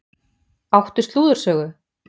Áttu slúðursögu?